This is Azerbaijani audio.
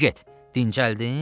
De get, dincəldin?